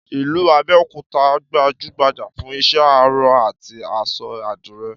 Ìlú Abẹ́òkúta gbajúgbajà fún iṣẹ́ aró àti aṣọ àdìrẹ